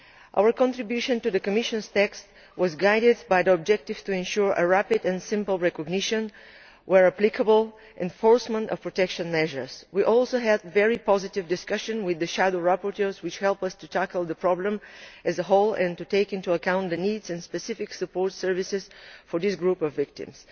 Our contribution to the Commission's text was guided by the objective of ensuring rapid and simple recognition, where applicable, and enforcement of protection measures. We also had a very positive discussion with the shadow rapporteurs, which helped us to tackle the problem as a whole and to take into account the needs of and specific support services for this group of victims.